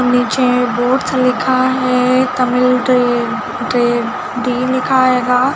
नीचे बोर्ड्स लिखा है तमिल ड्री.ड्री.डी लिखा होंगा।